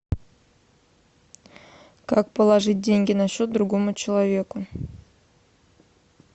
как положить деньги на счет другому человеку